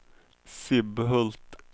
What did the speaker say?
Sibbhult